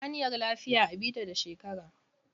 Hanyar lafiya a bi ta da shekara.